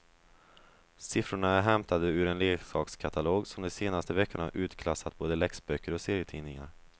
Siffrorna är hämtade ur en leksakskatalog som de senaste veckorna utklassat både läxböcker och serietidningar.